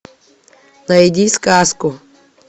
найди сказку